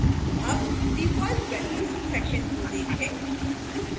अब default values section को देखें